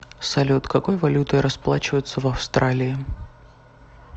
салют какой валютой расплачиваются в австралии